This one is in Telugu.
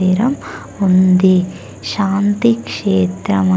--తెర ఉంది శాంతి క్షేత్రమ.